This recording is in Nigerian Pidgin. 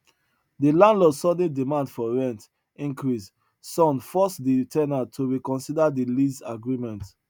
the landlord sudden demand for rent increase son force de ten ant to reconsider de lease agreement